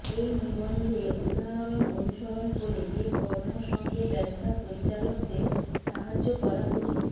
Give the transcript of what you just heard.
এই নিবন্ধে উদাহরণ অনুসরণ করে যে কর্ম সঙ্গে ব্যবসা পরিচালকদের সাহায্য করা উচিত